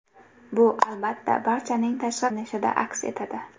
Bu, albatta, barchaning tashqi ko‘rinishida aks etadi.